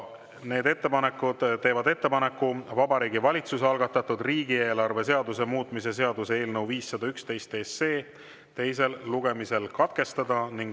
Need ettepanekud teevad ettepaneku Vabariigi Valitsuse algatatud riigieelarve seaduse muutmise seaduse eelnõu 511 teine lugemine katkestada.